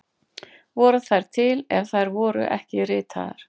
Voru þær til ef þær voru ekki ritaðar?